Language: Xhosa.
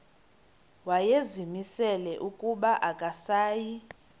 wayezimisele ukuba akasayi